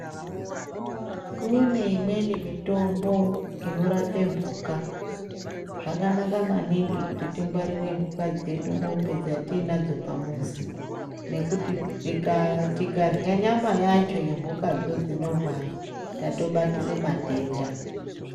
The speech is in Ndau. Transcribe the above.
Kune imweni mitombo inorape mbuka zvakanaka maningi kuti tingwarire mbuka dzedu mombe dzatinadzo pa mbuzi nekuti tikarya nyama yacho ye mbuka dzo dzino rwara tato batire matenda.